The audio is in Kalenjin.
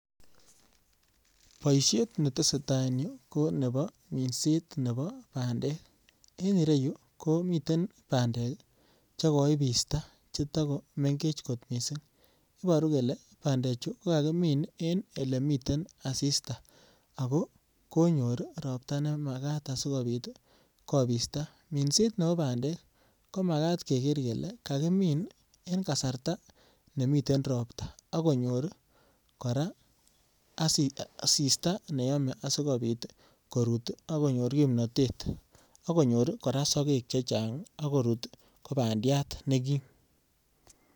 Boisiet neteseta en you konebo minset nebo bandek. En ireyu komiten bandek che koipista chetakomengech kot mising. Ibaru kole bandechu ko kakimin en elemiten asista ago konyor ropta nemagat asigopit kopista. Minset nebo bandek, ko magat keger kele kagimin en kasarta nemiten ropta ak konyor kora asista ne yome asigopit korut ak konyor kimnatet ak konyor kora sogek chechang ak korut ko bandiat ne kim.